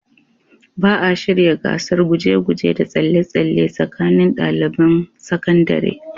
Ba a shirya gasar guje-guje da tsalle-tsalle tsakanin daliban sakandare.